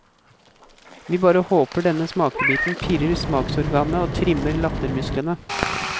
Vi bare håper denne smakebiten pirrer smaksorganene og trimmer lattermusklene.